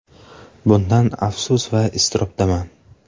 Bundan afsus va iztirobdaman.